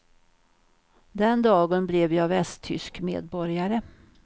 Den dagen blev jag västtysk medborgare.